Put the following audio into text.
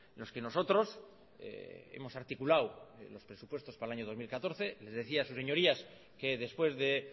los que nosotros hemos articulado en los presupuestos para el año dos mil catorce les decía a sus señorías que después de